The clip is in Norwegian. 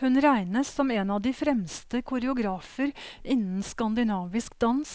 Hun regnes som en av de fremste koreografer innen skandinavisk dans,